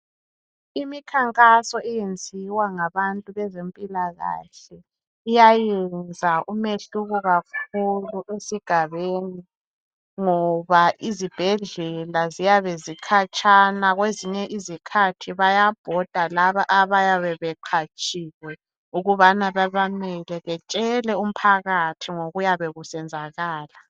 Imikhankaso eyenziwa ngabantu bezempilakahle, iyayenza umehluko kakhulu esigabeni ngoba izibhedlela ziyabe zikhatshana kwezinye izikhathi bayabhoda laba abayabe beqatshiwe ukubana babameme betshele umphakathi ngokuyabe kusenzakala.